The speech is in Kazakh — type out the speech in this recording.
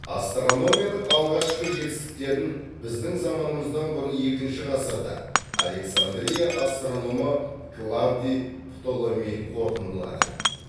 астрономияның алғашқы жетістіктерін біздің заманымыздан бұрын екінші ғасырда александрия астрономы клавдий птоломей қорытындылады